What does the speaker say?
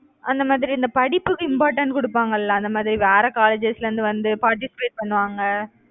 அந்த மாதிரி இந்த படிப்புக்கு important கொடுப்பாங்கல்ல அந்த மாதிரி வேற colleges ல இருந்து வந்து participate பண்ணுவாங்க